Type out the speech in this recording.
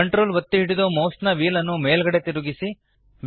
Ctrl ಒತ್ತಿ ಹಿಡಿದು ಮೌಸ್ನ ವ್ಹೀಲ್ ನ್ನು ಮೇಲ್ಗಡೆಗೆ ತಿರುಗಿಸಿ